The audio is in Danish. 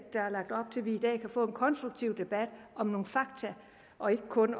vi i dag kan få en konstruktiv debat om nogle fakta og ikke kun